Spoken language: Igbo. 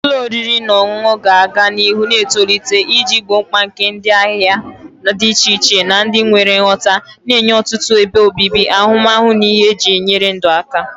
Ụlọ oriri na ọṅụṅụ ga-aga n'ihu na-etolite iji gboo mkpa nke ndị ahịa dị iche iche na ndị nwere nghọta, na-enye ọtụtụ ebe obibi, ahụmahụ na ihe eji enyere ndụ aka.